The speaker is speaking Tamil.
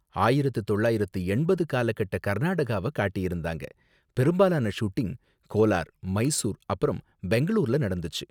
ஆயிரத்து தொள்ளாயிரத்து எண்பது காலகட்ட கர்நாடகாவ காட்டியிருந்தாங்க, பெரும்பாலான ஷூட்டிங் கோலார், மைசூர் அப்பறம் பெங்களூர்ல நடந்துச்சு.